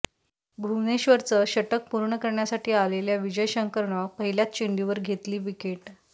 भुवनेश्वरचं षटक पूर्ण करण्यासाठी आलेल्या विजय शंकरनं पहिल्याच चेंडूवर घेतली विकेट